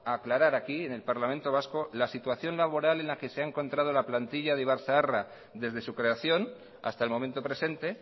a aclarar aquí en el parlamento vasco la situación laboral en la que se ha encontrado la plantilla de ibarzaharra desde su creación hasta el momento presente